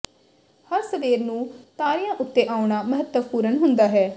ਹਰ ਸਵੇਰ ਨੂੰ ਤਾਰਿਆਂ ਉੱਤੇ ਆਉਣਾ ਮਹੱਤਵਪੂਰਨ ਹੁੰਦਾ ਹੈ